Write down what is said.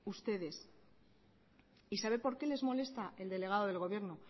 ustedes sabe por qué les molesta el delegado del gobierno